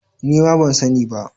Nima ban sani ba